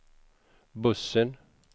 bussen